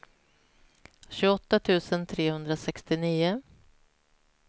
tjugoåtta tusen trehundrasextionio